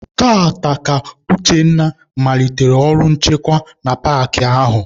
Taata ka Uchenna malitere ọrụ nchekwa na paakị ahụ.